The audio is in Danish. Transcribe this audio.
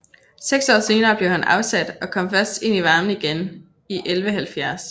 Seks år senere blev han afsat og kom først ind i varmen igen i 1170